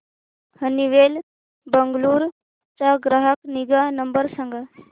Honeywell Bengaluru चा ग्राहक निगा नंबर सांगा